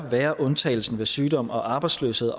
være undtagelsen ved sygdom og arbejdsløshed